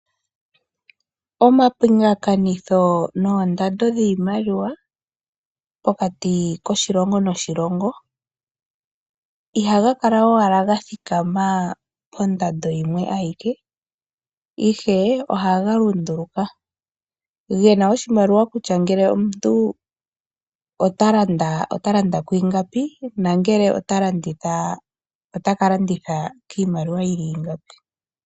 Omapingakanitho noondando dhiimaliwa pokati koshilongo noshilongo ihaga kala owala ga thikama pondando yimwe ayike, ihe ohaga lunduluka. Ge na oshimaliwa kutya ngele omuntu ota landa kwiingapi nangele ota landitha ota ka landitha kiimaliwa yi li ingapi.